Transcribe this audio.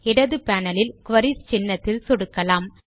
இடது பேனல் இல் குரீஸ் சின்னத்தில் சொடுக்கலாம்